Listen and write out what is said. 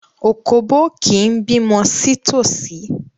Òkóbó kì í bímọ sí tòsí.